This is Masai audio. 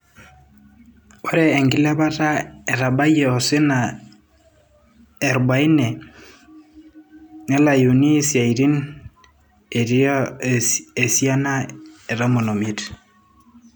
Ore enkilepata etabayie esiana e 40 nelayuni siaaitin etii esiana e 15.